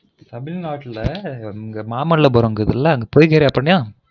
தமிழ்நாட்டுல மாமல்லபுரம் இருக்குதுல அங்க போய்க்கினியா அப்புறம்